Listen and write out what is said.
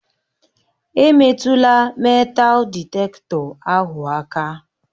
Emetụla meetal dịtektọ ahụ aka!